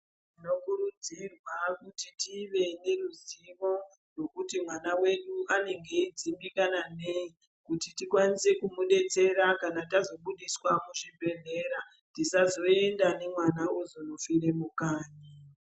Tinokurudzirwa kuti tive neruzivo rwekuti mwana wenyu anenge eidzimbikana nei kuti tikwanise kumudetsera kana tazobudiswa muzvibhedhlera tisazoenda nemwana ozofire mupa.